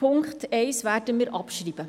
Punkt 1 werden wir abschreiben.